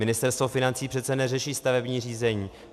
Ministerstvo financí přece neřeší stavební řízení.